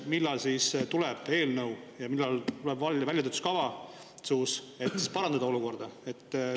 Millal siis tuleb eelnõu ja millal tuleb väljatöötamiskavatsus, et olukorda parandada?